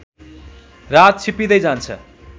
रात छिप्पिँदै जान्छ